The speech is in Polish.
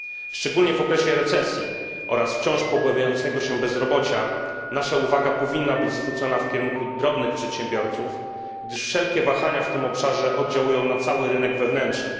Szczególnie w okresie recesji oraz wciąż pogłębiającego się bezrobocia nasza uwaga powinna być zwrócona w kierunku drobnych przedsiębiorców, gdyż wszelkie wahania w tym obszarze oddziałują na cały rynek wewnętrzny.